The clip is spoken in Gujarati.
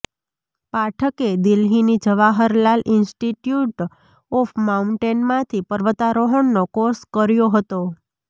પાઠકે દિલ્હીની જવાહરલાલ ઈન્સ્ટિટ્યુટ ઓફ માઉન્ટેનમાંથી પર્વતારોહણનો કોર્ષ કર્યો હતો